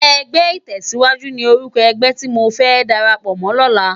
Ègbè itèsíwájú ni órúkò ègbè ti mó fè dàrápò mò lòlá